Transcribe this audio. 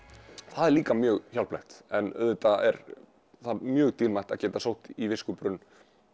það er líka mjög hjálplegt en auðvitað er það mjög dýrmætt að geta sótt í viskubrunn